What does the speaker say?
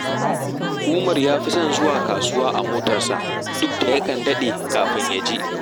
Umar ya fi son zuwa kasuwa a motarsa, duk da yakan daɗe kafin ya je